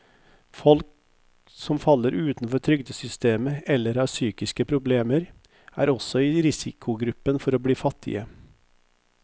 Folk som faller utenfor trygdesystemet eller har psykiske problemer, er også i risikogruppen for å bli fattige.